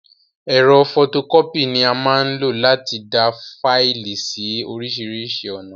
Ẹ̀rọ fọtokọ́pì ni a máa n lo láti dáa Faìlì síí orisirisi ọ̀nà